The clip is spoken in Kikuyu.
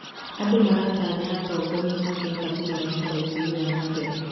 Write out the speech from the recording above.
Andũ maratanya atongoria mangĩhota kũmarehera ũthii wa na mbere.